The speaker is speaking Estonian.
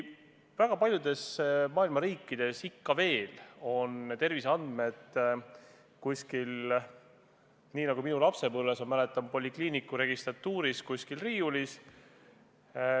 Väga paljudes maailma riikides hoitakse terviseandmeid ikka veel nii nagu minu lapsepõlves polikliiniku registratuuris riiulil.